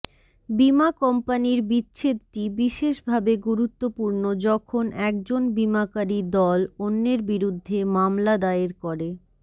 বীমা কোম্পানীর বিচ্ছেদটি বিশেষভাবে গুরুত্বপূর্ণ যখন একজন বীমাকারী দল অন্যের বিরুদ্ধে মামলা দায়ের করে